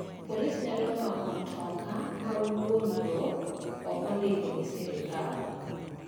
Polise nyalo mako mtoa ma wuongo ok ondiko gi sirkal.